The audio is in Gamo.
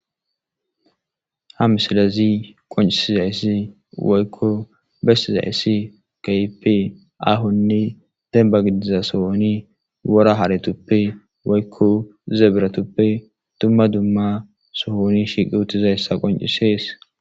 Ha misilezii qonccisizayssi woykko bessizayssi keehippe aahonne dembba gidida sohonni woora haretuppe woykko zebiratuppe dumma dumma sohon shiqi uuttidayssa qonccises.